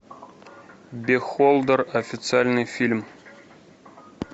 бехолдер официальный фильм